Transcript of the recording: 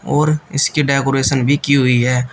और इसके डेकोरेशन भी की हुई है।